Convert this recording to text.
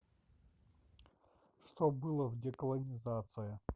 что было в деколонизация